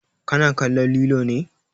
Ka na kan lilo ne?